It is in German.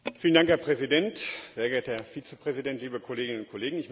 Herr Präsident, sehr geehrter Herr Vizepräsident, liebe Kolleginnen und Kollegen!